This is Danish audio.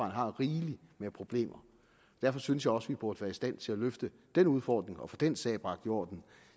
har rigeligt med problemer derfor synes jeg også vi burde være i stand til at løfte den udfordring og få den sag bragt i orden